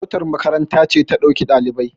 motar makaranta ce ta ɗauki ɗalibai